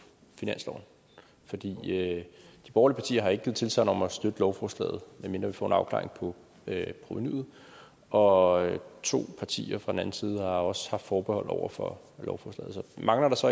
finansloven de borgerlige partier har ikke givet tilsagn om at støtte lovforslaget medmindre vi får en afklaring på provenuet og to partier fra den anden side har også udtrykt forbehold over for lovforslaget så mangler der så